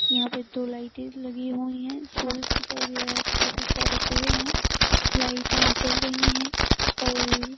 यहाँ पे दो लाइटे लगी हुई हैं। सूरज दिखाई दे रहा है काफ़ी सारे पेड़ हैं। लाइटे जल रही हैं और --